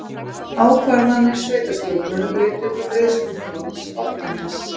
Ákvarðanir sveitarstjórnar leiddu til greiðsluþrots Álftaness